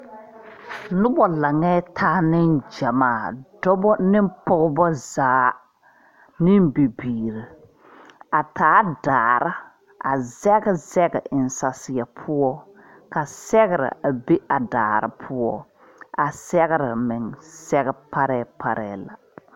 Nuba langɛɛ taa ninjamaa dɔba ne pɔgba zaa nin bibiiri a taa daare a zeg zeg en sasie pou ka sɛgre a be a daare poɔ a segre meng sege paree paree la.